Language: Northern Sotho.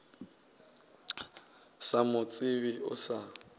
sa mo tsebe o sa